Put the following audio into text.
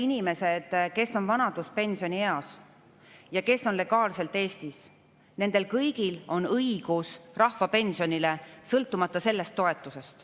Neil inimestel, kes on vanaduspensionieas ja kes on legaalselt Eestis, on kõigil õigus rahvapensionile, sõltumata sellest toetusest.